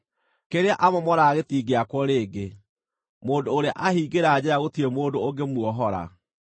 Kĩrĩa amomoraga gĩtingĩakwo rĩngĩ; mũndũ ũrĩa aahingĩra njeera gũtirĩ mũndũ ũngĩmuohora.